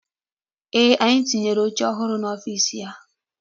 Ee, anyị tinyere oche ọhụrụ n'ọfiisi ya.